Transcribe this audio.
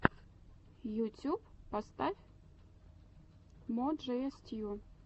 ютюб поставь мо джея стью